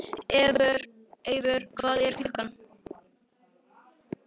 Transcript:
Eivör, hvað er klukkan?